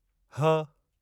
ह